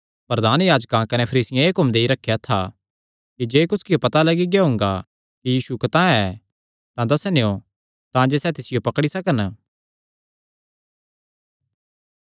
प्रधान याजकां कने फरीसियां एह़ हुक्म देई रखेया था कि जे कुसकियो पता लग्गी गेआ हुंगा कि यीशु कतांह ऐ तां दस्सनेयों तांजे सैह़ तिसियो पकड़ी सकन